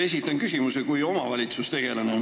Esitan küsimuse kui omavalitsustegelane.